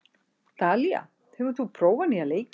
Dalía, hefur þú prófað nýja leikinn?